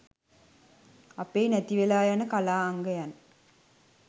අපේ නැති වෙලා යන කලා අංගයන්